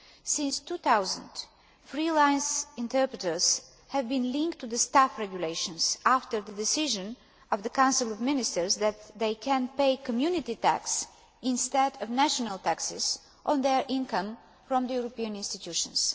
Since 2000, freelance interpreters have been linked to the Staff Regulations, after the decision of the Council of Ministers that they can pay Community tax instead of national taxes on their income from the European institutions.